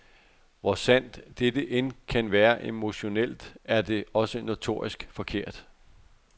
Hvor sandt dette end kan være emotionelt, er det også notorisk forkert.